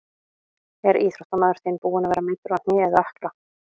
Er íþróttamaður þinn búinn að vera meiddur á hné eða ökkla?